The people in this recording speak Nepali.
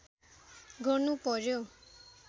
गर्नु पर्‍यो